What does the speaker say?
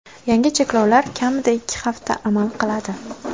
Yangi cheklovlar kamida ikki hafta amal qiladi.